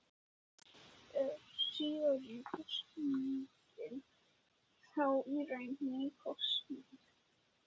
Er síðari kosningin þá í raun ný kosning.